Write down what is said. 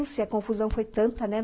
Não sei, a confusão foi tanta, né?